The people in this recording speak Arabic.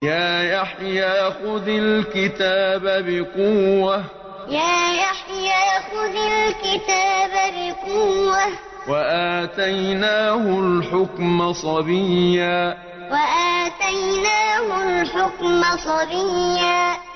يَا يَحْيَىٰ خُذِ الْكِتَابَ بِقُوَّةٍ ۖ وَآتَيْنَاهُ الْحُكْمَ صَبِيًّا يَا يَحْيَىٰ خُذِ الْكِتَابَ بِقُوَّةٍ ۖ وَآتَيْنَاهُ الْحُكْمَ صَبِيًّا